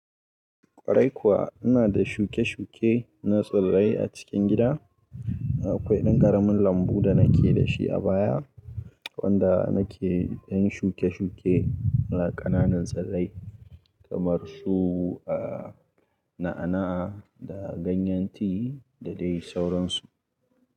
Kwarai kuwa ina da shuke-shuke na tsirrai a cikin gida. Akwai ɗan ƙaramin lambu da na ke da shi a baya wanda na ke yin shuke-shuke na ƙananan tsirrai kamar su, aa, na'a-na'a da ganyen tea da dai sauransu.